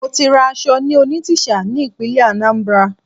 Mo ti ra aṣọ ní Onitsha ní ìpínlẹ̀ Anambra